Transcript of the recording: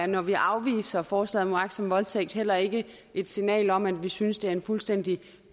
når vi afviser forslaget om uagtsom voldtægt heller ikke et signal om at vi synes det er en fuldstændig